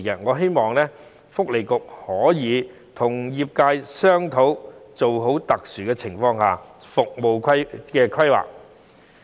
我希望勞工及福利局可以與業界商討，做好特殊情況下的服務規劃。